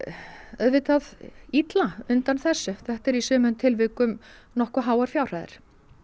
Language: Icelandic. auðvitað illa undan þessu þetta er í sumum tilvikum nokkuð háar fjárhæðir